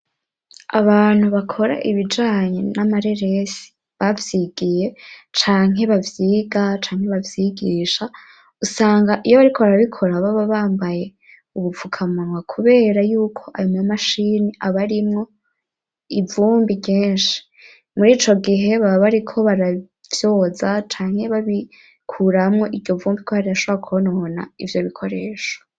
Abantu bakora ibijanye n'amareresi bavyigiye canke bavyiga canke bavyigisha usanga iyo bariko barabikora baba bambaye ubupfukamanwa kubera yuko ayo ma mashini aba arimwo ivumbi ryinshi, muri ico gihe baba bariko barayoza canke babikuramwo iryo vumbi ko barashobara kwonona ivyo bikoresho.